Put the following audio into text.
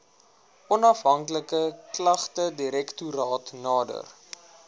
onafhanklike klagtedirektoraat nader